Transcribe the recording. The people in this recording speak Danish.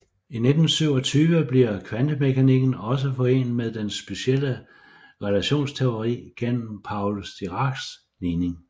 I 1927 bliver kvantemekanikken også forenet med den specielle relativitetsteori gennem Paul Diracs ligning